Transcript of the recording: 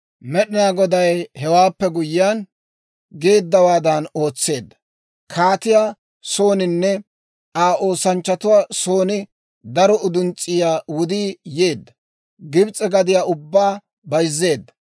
Med'inaa Goday hewaappe guyyiyaan, geeddawaadan ootseedda; kaatiyaa sooninne Aa oosanchchatuwaa son daro uduns's'iyaa wudii yeedda; Gibs'e gadiyaa ubbaa bayzzeedda.